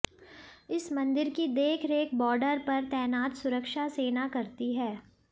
इस मंदिर की देखरेख बॉर्डर पर तैनात सुरक्षा सेना करती है